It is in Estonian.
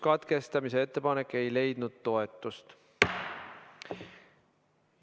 Katkestamise ettepanek ei leidnud toetust.